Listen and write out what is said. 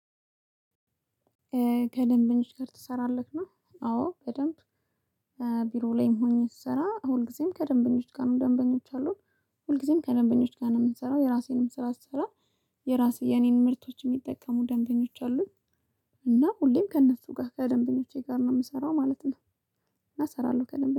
ከደንበኛው ጋር ትሰራለህ ነው? አዎ በደንብ። ቢሮ ላይም ሆኜ ስሰራ ሁልጊዜም ከደንበኞች ጋር ነው ደንበኞች አሉን። ሁልጊዜም ከደንበኞች ጋር ነው የምንሰራው የራሴንም ስራ ስሰራ። የራሴ የኔን ምርቶች የሚጠቀሙ ደንበኞች አሉኝ። እና ሁሌም ከእነሱ ጋር ከደንበኞቼ ጋር ነው የምሰራው ማለት ነው። እና እሰራለሁ ከደንበኛ